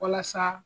Walasa